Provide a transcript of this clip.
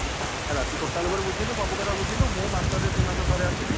ହେଲା ତୁ total ଉପରେ ବୁଝିଲୁ ସବୁକଥା ବୁଝିଲୁ ମୁଁ ମାସ ରେ ଦିମାସ ରେ ଥରେ ଆସିବି।